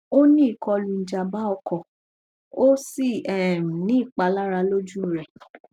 o ni ikolu ijamba oko o si um ni ipalara loju rẹ